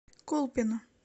колпино